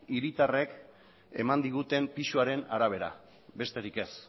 hiritarrek eman diguten pisuaren arabera besterik ez